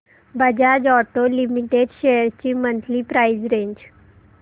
Bajaj auto limited shares ची monthly price range